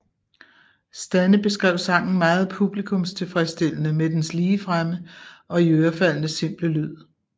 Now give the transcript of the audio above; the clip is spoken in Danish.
Stanne beskrev sangen meget publikumstilfredsstillende med dens ligefrem og iørefaldende simple lyd